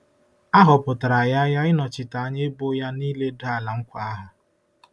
A họpụtara ya ya ịnọchite anya ebo ya n'iledo Ala Nkwa ahụ.